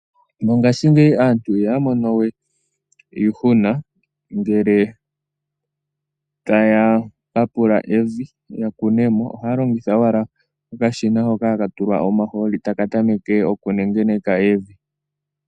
Mongashingeyi aantu ihaya monowe iihuna ngele taya papula evi ya kunemo. Ohaya longitha owala okashina hoka ha katulwa omahooli taka tameke okunengeneka evi.